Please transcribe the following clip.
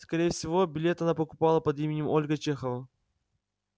скорее всего билет она покупала под именем ольга чехова